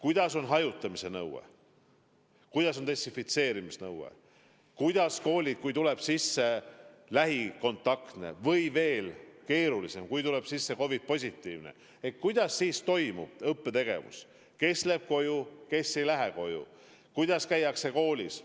Millised on hajutamise nõuded, millised on desinfitseerimise nõuded, kuidas koolid tegutsevad, kui tekivad lähikontaktsed või mis veel keerulisem, kui tulevad COVID-positiivsed vastused – kuidas siis toimub õppetegevus, kes läheb koju, kes ei lähe koju, kuidas käiakse koolis.